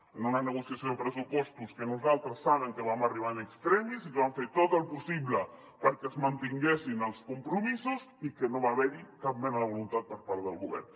en una negociació de pressupostos que nosaltres saben que vam arribar in extremis i que vam fer tot el possible perquè es mantinguessin els compromisos i que no va haver hi cap mena de voluntat per part del govern